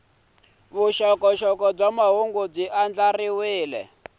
vuxokoxoko bya mahungu byi andlariwile